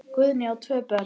Guðný á tvö börn.